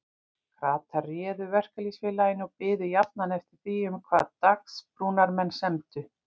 Kratar réðu Verkalýðsfélaginu og biðu jafnan eftir því um hvað Dagsbrúnarmenn semdu.